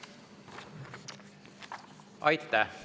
Aitäh!